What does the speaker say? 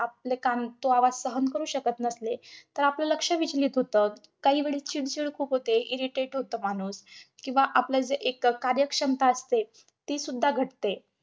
आपले कान तो आवाज सहन करू शकत नसले, तर आपलं लक्ष विचलित होतं. काहीकाही वेळेस चिडचिड खूप होते, irritate होतो माणूस. किंवा आपलं जे एक अं कार्यक्षमता असते, ती सुद्धा घटते.